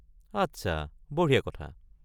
আচ্ছা, বঢ়িয়া কথা।